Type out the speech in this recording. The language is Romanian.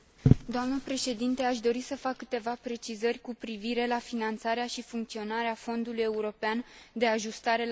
Aș dori să fac câteva precizări cu privire la finanțarea și funcționarea Fondului european de ajustarea la globalizare.